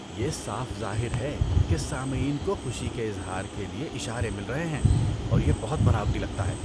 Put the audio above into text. یہ صاف ظاہر ہے کہ سامعین کو خوشی کے اظہار کے لیے اشارے مل رہے ہیں اور یہ بہت بناوٹی لگتا ہے۔